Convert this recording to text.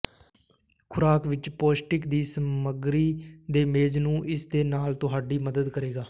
ਖੁਰਾਕ ਵਿੱਚ ਪੌਸ਼ਟਿਕ ਦੀ ਸਮੱਗਰੀ ਦੇ ਮੇਜ਼ ਨੂੰ ਇਸ ਦੇ ਨਾਲ ਤੁਹਾਡੀ ਮਦਦ ਕਰੇਗਾ